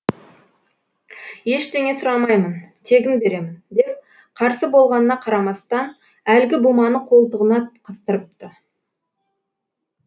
ештеңе сұрамаймын тегін беремін деп қарсы болғанына қарамастан әлгі буманы қолтығына қыстырыпты